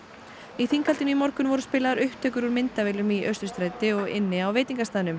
í þinghaldinu í morgun voru spilaðar upptökur úr myndavélum í Austurstræti og inni á veitingastaðnum